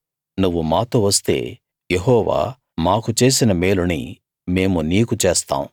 నువ్వు మాతో వస్తే యెహోవా మాకు చేసిన మేలుని మేము నీకు చేస్తాం